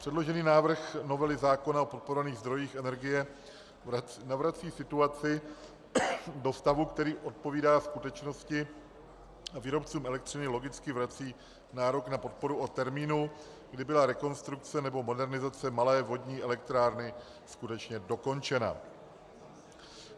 Předložený návrh novely zákony o podporovaných zdrojích energie navrací situaci do stavu, který odpovídá skutečnosti, a výrobcům elektřiny logicky vrací nárok na podporu od termínu, kdy byla rekonstrukce nebo modernizace malé vodní elektrárny skutečně dokončena.